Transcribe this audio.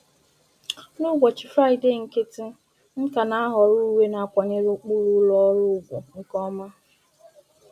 N'ụbọchị Fraịdee nkịtị, m ka na ahọrọ uwe na akwanyere ụkpụrụ ụlọ ọrụ ùgwù nke ọma.